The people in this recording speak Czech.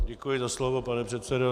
Děkuji za slovo, pane předsedo.